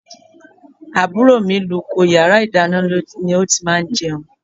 Àbúrò mi luko, yàrá ìdáná ni ó ti máa ń jẹun.